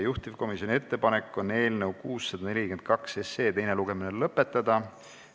Juhtivkomisjoni ettepanek on eelnõu 642 teine lugemine lõpetada.